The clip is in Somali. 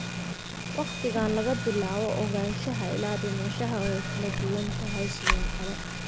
Waqtiga laga bilaabo ogaanshaha ilaa dhimashada way kala duwan tahay, sidoo kale.